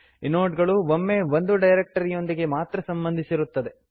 inode ಗಳು ಒಮ್ಮೆ ಒಂದು ಡೈರಕ್ಟರಿಯೊಂದಿಗೆ ಮಾತ್ರ ಸಂಬಂಧಿಸಿರುತ್ತವೆ